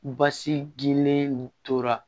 Basi gilen nin tora